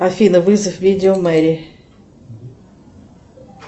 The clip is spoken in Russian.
афина вызов видео мэри